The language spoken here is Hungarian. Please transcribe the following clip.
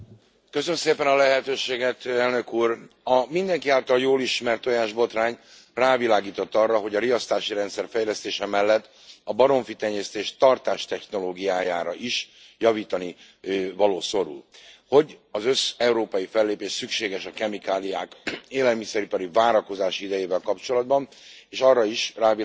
Elnök Úr, a mindenki által jól ismert tojásbotrány rávilágított arra, hogy a riasztási rendszer fejlesztése mellett a baromfitenyésztés tartástechnológiája is javításra szorul, hogy összeurópai fellépés szükséges a kemikáliák élelmiszeripari várakozási idejével kapcsolatban, és arra is rávilágított, hogy a baromfinál az ún.